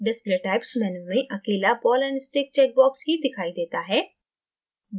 display typesमेनू में अकेला ball and stickचेक box ही दिखाई देता है